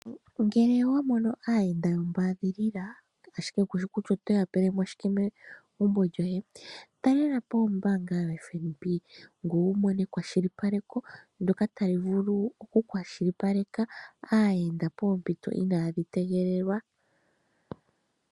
Ngele owa mono aayenda yombaadhilila, ashike kushi kutya oto ya pele mo shike megumbo lyoye, talela po ombaanga yoFNB, ngoye wu mone ekwashilipaleko ndyoka ta li vulu okukwashilipaleka aayenda poompito inadhi tegelelwa.